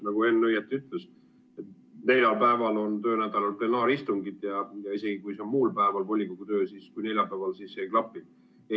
Nagu Henn õigesti ütles, et töönädalal on neljapäeviti plenaaristungid ja isegi kui volikogu töö on muul päeval kui neljapäeval, siis ei klapi.